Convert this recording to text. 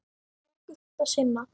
Mörgu þurfti að sinna.